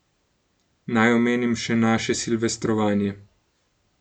Naj omenim še naše silvestrovanje.